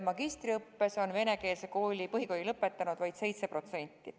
Magistriõppes on venekeelse põhikooli lõpetanud vaid 7%.